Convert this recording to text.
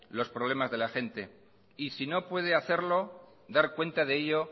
los problemas de la gente y si no puede hacerlo dar cuenta de ello